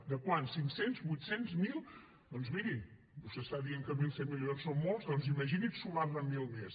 de quant cinc cents vuit cents mil doncs miri vostè està dient que mil cent milions són molts doncs imagini’s sumar ne mil més